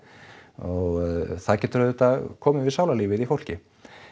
og það getur auðvitað komið við sálarlífið í fólki